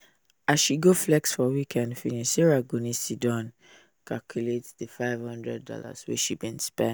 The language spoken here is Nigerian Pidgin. as she go flex for weekend finish sarah go need siddon check how she go explain di five hundred dollars wey she bin spend